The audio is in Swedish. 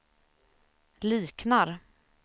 liknar